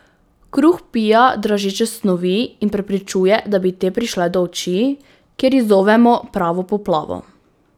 Kruh vpija dražeče snovi in preprečuje, da bi te prišle do oči, kjer izzovejo pravo poplavo.